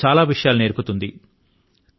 మనకు చాలా విషయాలు నేర్పుతుంది